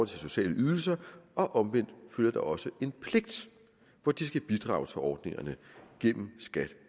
til sociale ydelser og omvendt følger der også en pligt hvor de skal bidrage til ordningerne gennem skat